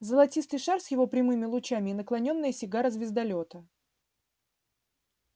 золотистый шар с его прямыми лучами и наклонённая сигара звездолёта